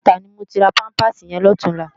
Idúmòtá ni mó má ti rá pàmpásí yèn lòtúnlá